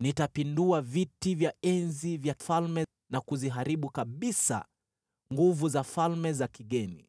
Nitapindua viti vya enzi vya falme, na kuziharibu kabisa nguvu za falme za kigeni.